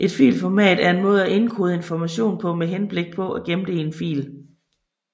Et filformat er en måde at indkode information på med henblik på at gemme det i en fil